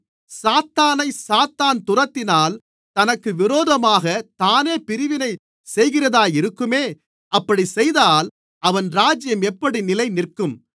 சாத்தானைச் சாத்தான் துரத்தினால் தனக்கு விரோதமாகத் தானே பிரிவினை செய்கிறதாயிருக்குமே அப்படிச் செய்தால் அவன் ராஜ்யம் எப்படி நிலைநிற்கும்